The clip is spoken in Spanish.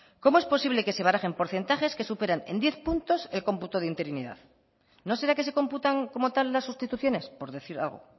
cómo es posible que se barajen porcentajes que superan en diez puntos el cómputo de interinidad no será que se computan como tal las sustituciones por decir algo